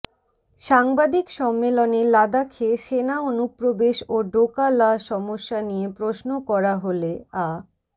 সাংবাদিক সম্মেলনে লাদাখে সেনা অনুপ্রবেশ ও ডোকা লা সমস্যা নিয়ে প্রশ্ন করা হলে আ